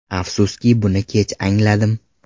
Afsuski, buni kech angladim.